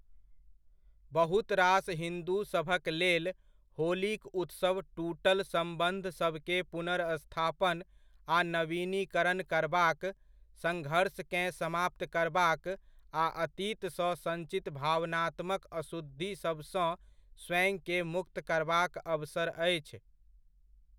बहुत रास हिन्दूसभकलेल, होलीक उत्सव टूटल सम्बन्धसभके पुनर्स्थापन आ नवीनीकरण करबाक, सङ्घर्षकेँ समाप्त करबाक आ अतीतसँ सञ्चित भावनात्मक अशुद्धिसभसँ स्वयंकेँ मुक्त करबाक अवसर अछि।